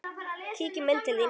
Kíkjum inn til þín